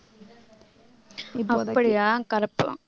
அப்படியா correct தான்